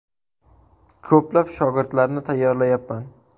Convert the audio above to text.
Ko‘plab shogirdlarni tayyorlayapman.